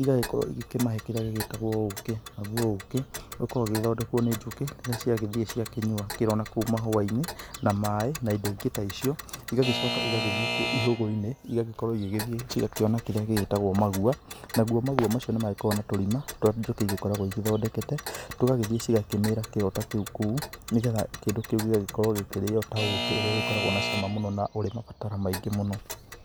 igagĩkorwo igĩkĩmahe indo iria ciĩtagwo ũkĩ, nagũo ũkĩ ũgĩkoragwo ũgĩthondekwo nĩ njũkĩ irĩa ciagĩthiĩ ciakĩnyua kĩro nakũu mahũainĩ na maĩ na indo ingĩ ta icio igagĩcoka igagĩthiĩ nakũu ihũgũ-inĩ igagĩkorwo igĩgĩthiĩ igakĩona kĩrĩa gĩtagwo magua namo magua maũ nĩ magĩkoragwo na tũrima tũrĩa njũkĩ igĩkoragwo ithondekete tũgagĩthiĩ tũgakĩmĩra kĩro ta kĩu kũu nĩgetha kĩndũ kĩu gĩgakorwo gĩkĩrio ta ũkĩ ũrĩa ũgĩkoragwo na cama mũno na ũrĩ mabatara maingĩ mũno.